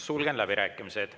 Sulgen läbirääkimised.